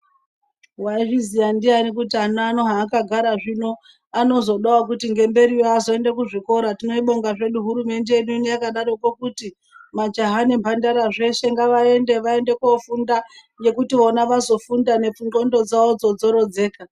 Waizviziya ndian kuti ana haakagara zvino anozoda kuti ngemberiyo azoenda kuzvikora. Teibonga hedu hurumende yedu yakati majaha zveshe nemhandara ngavaende kofunda ngekuti vona vazofunda ndxondo dzavo dzorodzeka.